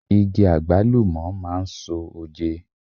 Igi Àgbálùmọ̀ máa ń so oje.